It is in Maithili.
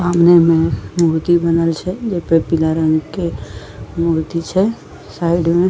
सामने मे मूर्ति बनल छै जेकर पीला रंग के मूर्ति छै साइड मे --